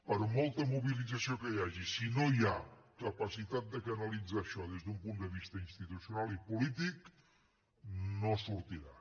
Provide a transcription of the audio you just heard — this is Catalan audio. per molta mobilització que hi hagi si no hi ha capacitat de canalitzar això des d’un punt de vista institucional i polític no sortirà